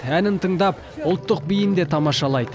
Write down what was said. әнін тыңдап ұлттық биін де тамашалайды